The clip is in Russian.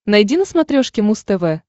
найди на смотрешке муз тв